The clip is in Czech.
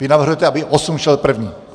Vy navrhujete, aby 8 šel první.